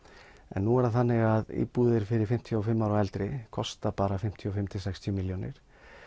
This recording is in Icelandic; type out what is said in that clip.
en nú er það þannig að íbúðir fyrir fimmtíu og fimm ára og eldri kosta bara fimmtíu og fimm til sextíu milljónir